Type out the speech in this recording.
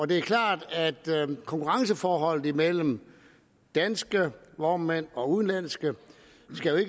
det er klart at konkurrenceforholdet imellem danske vognmænd og udenlandske